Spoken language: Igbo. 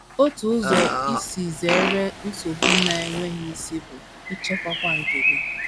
Otu ụzọ isi zere nchegbu na - enweghị isi bụ ịchịkwa àgwà nke gị.